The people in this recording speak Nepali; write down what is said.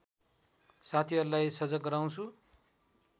साथीहरूलाई सजग गराउँछु